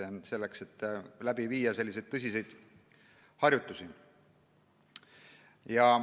Vaid siis saab läbi viia tõsiseid harjutusi.